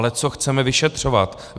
Ale co chceme vyšetřovat?